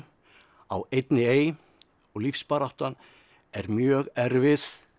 á einni ey og lífsbaráttan er mjög erfið